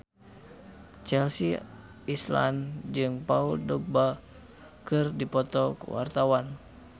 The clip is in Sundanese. Chelsea Islan jeung Paul Dogba keur dipoto ku wartawan